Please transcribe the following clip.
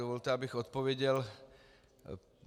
Dovolte, abych odpověděl.